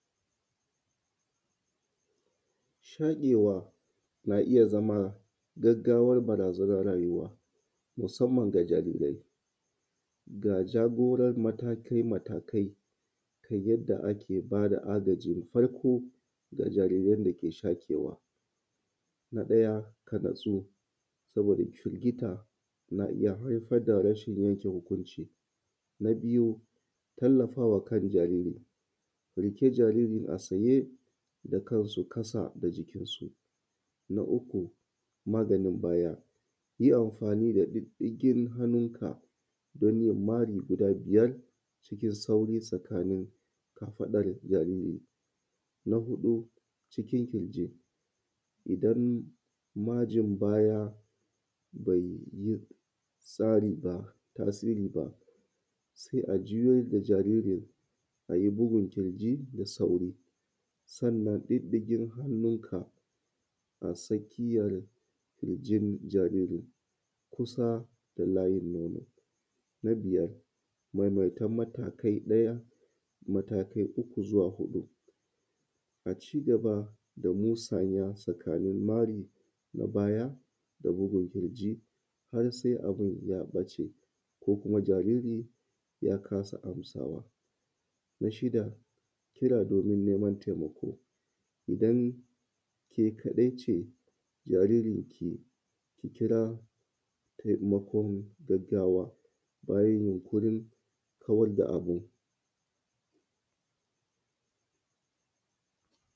Shaƙewa na iyya zama gaggawar barazanar rayuwa musamman ga jarirai. Ga jagorar matakai matakai na yadda ake bada agajin farko musamman ga jariran dake shaƙewa. Na ɗaya ka natsu saboda firgita na iyya haifar da rashin yanke hukunci. Na biyu tallafawa riƙe kan jarirai, kiƙe jariri a tsaye da kansa a ƙasa da jikin su. Na uku maganin baya yi amfani da ɗinɗigin hannunka danyin tafi guda biyar cikin sauri a tsakanin kafaɗan jariri. Na huɗu cikin ƙirji idan gwajin baya bai tasiri ba sai a juyar da jariri ayi bugun ƙirji da sauri, sannan sanya ɗiɗikin hannunka a tsakiyar kirjin jariri kusa da layin nono. Na biyar maimaita matakai uku zuwa huɗu a cigaba da musaya tsakanin ɓarin baya da bugun kirji har sai abun ya ɓace ko kuma jariri ya kasa masawa. Na shida kira domin neman taimako idan ke kaɗai ce da sjaririnki, ki kira taimakon gaggawa bayan yunƙuri kawar da abun.